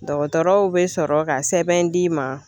Dɔgɔtɔrɔw be sɔrɔ ka sɛbɛn d'i ma